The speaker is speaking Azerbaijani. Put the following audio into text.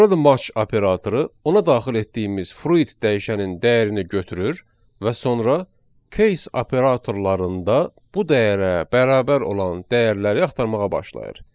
Burada match operatoru ona daxil etdiyimiz fruit dəyişənin dəyərini götürür və sonra case operatorlarında bu dəyərə bərabər olan dəyərləri axtarmağa başlayır.